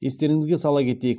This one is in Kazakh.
естеріңізге сала кетейік